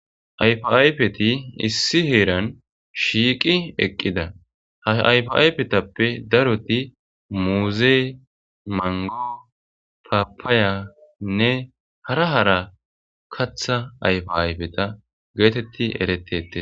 Ayfo ayfeti issi heeran shiiqi eqqida ha ayfi ayfetappe daroti muuzee mango papaayanne hara hara katha ayfe ayfeta geetetti erettete